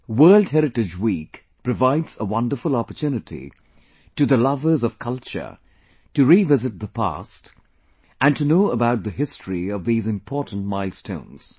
World Heritage Week provides a wonderful opportunity to the lovers of culture to revisit the past and to know about the history of these important milestones